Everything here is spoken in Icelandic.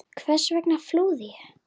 Hvers vegna flúði ég?